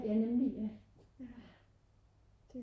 ja nemlig ja